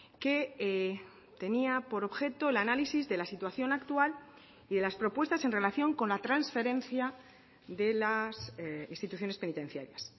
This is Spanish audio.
que tenía por objeto el análisis de la situación actual y de las propuestas en relación con la transferencia de las instituciones penitenciarias